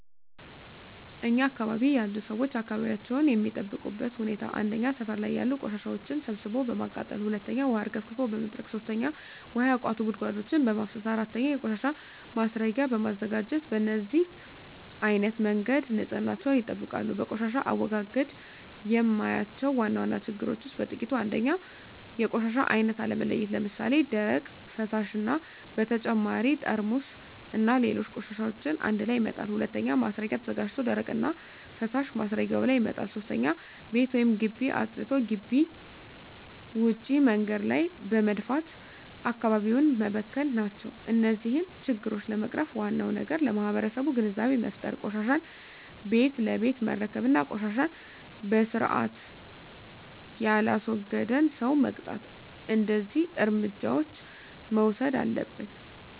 እኛ አካባቢ ያሉ ሠዎች አካባቢያቸውን የሚጠብቁበት ሁኔታ 1. ሠፈር ላይ ያሉ ቆሻሻዎችን ሠብስቦ በማቃጠል 2. ውሀ አርከፍክፎ በመጥረግ 3. ውሀ ያቋቱ ጉድጓዶችን በማፋሠስ 4. የቆሻሻ ማስረጊያ በማዘጋጀት በነዚህ አይነት መንገድ ንፅህናቸውን ይጠብቃሉ። በቆሻሻ አወጋገድ የማያቸው ዋና ዋና ችግሮች ውስጥ በጥቂቱ 1. የቆሻሻ አይነት አለመለየት ለምሣሌ፦ ደረቅ፣ ፈሣሽ እና በተጨማሪ ጠርሙስና ሌሎች ቆሻሻዎችን አንድላይ መጣል። 2. ማስረጊያ ተዘጋጅቶ ደረቅና ፈሣሽ ማስረጊያው ላይ መጣል። 3. ቤት ወይም ግቢ አፅድቶ ግቢ ውጭ መንገድ ላይ በመድፋት አካባቢውን መበከል ናቸው። እነዚህን ችግሮች ለመቅረፍ ዋናው ነገር ለማህበረሠቡ ግንዛቤ መፍጠር፤ ቆሻሻን ቤት ለቤት መረከብ እና ቆሻሻን በስርአት የላስወገደን ሠው መቅጣት። እደዚህ እርምጃዎች መውሠድ አለብን።